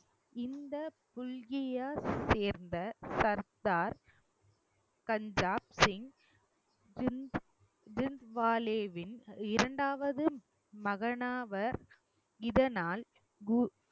இந்த புல்கிய சேர்ந்த சர்தார் பஞ்சாப் சிங் டின்ஸ் டின்த்வாலேவின் இரண்டாவது மகனாவர் இதனால் கு~